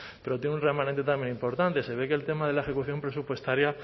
pero tiene un remanente también importante se ve que el tema de la ejecución presupuestaria